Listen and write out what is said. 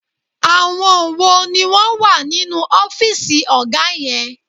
Àwọn wo ni wọ́n wà nínú ọ́fìsì ọ̀gá yẹn?